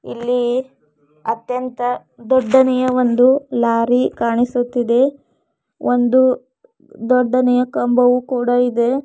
ಇಲ್ಲಿ ಅತ್ಯಂತ ದೊಡ್ಡನೆಯ ಒಂದು ಲಾರಿ ಕಾಣಿಸುತ್ತಿದೆ ಒಂದು ದೊಡ್ಡನೆಯ ಕಂಬವು ಕೂಡ ಇದೆ.